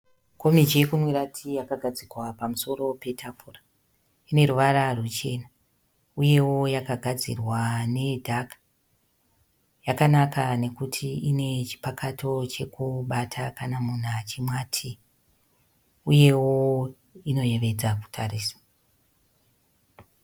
Komichi yokumwira tii yakagadzikwa pamusoro petafura. Ino ruvara ruchena uyewo yakagadzirwa nedhaka. Yakanaka nekuti ine chipakato chekubata kana munhu achimwa tii uyevo inoyevedza kutarisa.